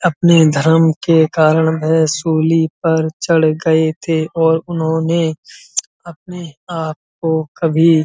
अपने धर्म के कारण वो शूली पर चढ़ गए थे और उन्होंने अपने आप को कभी --